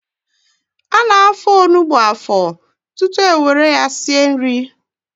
Ana-afọ onugbu afọ tutu ewere ya sie nri.